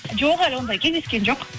жоқ әлі ондай кездескен жоқ